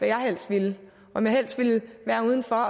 jeg helst ville om jeg helst ville være udenfor